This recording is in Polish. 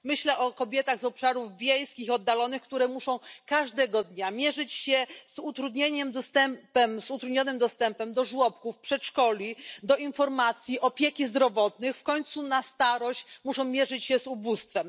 Myślę o kobietach z obszarów wiejskich i oddalonych, które muszą każdego dnia mierzyć się z utrudnionym dostępem do żłobków, przedszkoli, informacji, opieki zdrowotnej, a na starość muszą mierzyć się z ubóstwem.